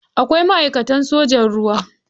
Akwai ma'aikatan sojan ruwa.